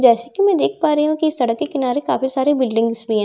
जैसे की मैं देख पा रही हूँ की सड़क के किनारे काफी सारे बिल्डिंग्स भी हैं जैसे की --